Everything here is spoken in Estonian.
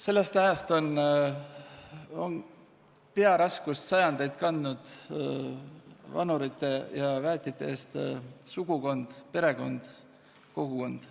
Sellest ajast on sajandeid vanurite ja väetite eest hoolitsedes pearaskust kandnud sugukond, perekond, kogukond.